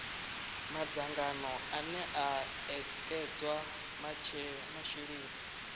madzangano ane a ekedza masheleni